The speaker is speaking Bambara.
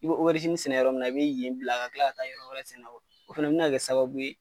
I be sɛnɛ yɔrɔ min na i be yen bila ka tila ka tila ka taa yɔrɔ wɛrɛ sɛna , o fɛnɛ bi na kɛ sababu ye